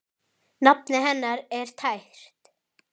Nafnið hennar er tært.